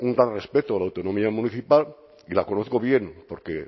un respeto a la autonomía municipal y la conozco bien porque